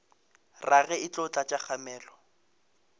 rage e tlo tlatša kgamelo